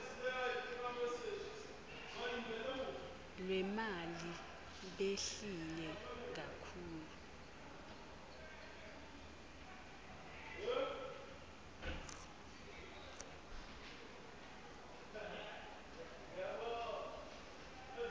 lwemali behlile kakhulu